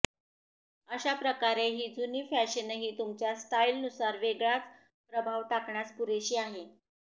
अशा प्रकारे ही जुनी फॅशनही तुमच्या स्टाईलनुसार वेगळाच प्रभाव टाकण्यास पुरेशी आहे